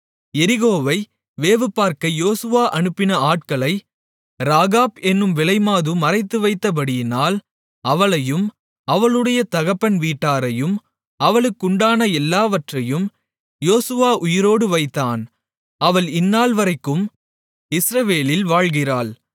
எரிகோவை வேவுபார்க்க யோசுவா அனுப்பின ஆட்களை ராகாப் என்னும் விலைமாது மறைத்துவைத்தபடியினால் அவளையும் அவளுடைய தகப்பன் வீட்டாரையும் அவளுக்குண்டான எல்லாவற்றையும் யோசுவா உயிரோடு வைத்தான் அவள் இந்தநாள்வரைக்கும் இஸ்ரவேலில் வாழ்கிறாள்